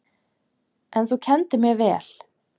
En þú kenndir mér vel.